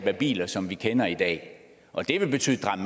af biler som vi kender i dag og det vil